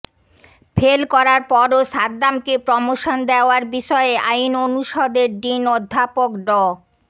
fail করার পরও সাদ্দামকে প্রমোশন দেওয়ার বিষয়ে আইন অনুষদের ডিন অধ্যাপক ড